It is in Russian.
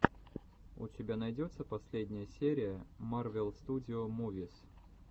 у тебя найдется последняя серия марвел студио мувис